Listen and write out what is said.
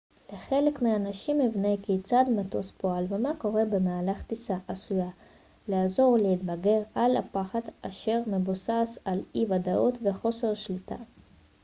לחלק מהאנשים הבנה כיצד מטוס פועל ומה קורה במהלך טיסה עשויה לעזור להתגבר על הפחד אשר מבוסס על אי-ודאות וחוסר שליטה